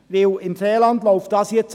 Im Seeland läuft dies an.